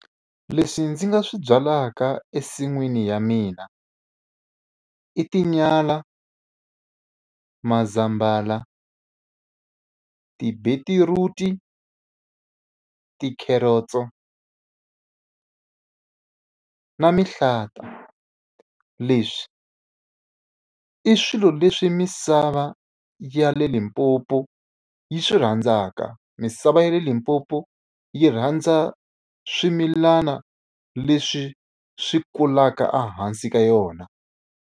Leswi ndzi nga swi byalaka ensin'wini ya mina i tinyala, mazambhala, ti-beetroot-i, tikhereotso na mihlata. Leswi i swilo leswi misava ya le Limpopo yi swi rhandzaka, misava ya le Limpopo yi rhandza swimilana leswi swi kulaka ehansi ka yona.